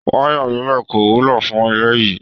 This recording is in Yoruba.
Waya líló kò wúlò fún ilé yìí.